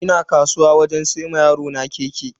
Ina kasuwa wajen siyan wa yarona keke.